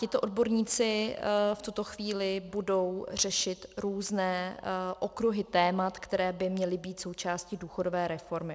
Tito odborníci v tuto chvíli budou řešit různé okruhy témat, které by měly být součástí důchodové reformy.